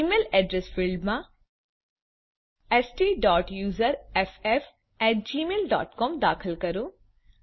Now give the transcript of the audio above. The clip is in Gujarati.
ઇમેઇલ અડ્રેસ ફિલ્ડમાં stયુઝર્ફ gmailસીઓએમ દાખલ કરો